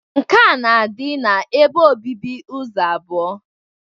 Nke a na-adị ebe obibi ụzọ abụọ.